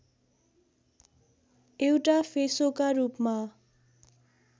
एउटा फेसोका रूपमा